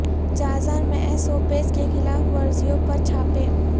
Jazan میں S O Ps کی خلاف ورزیوں پر چھاپے